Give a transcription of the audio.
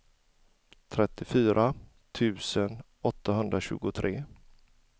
trettiofyra tusen åttahundratjugotre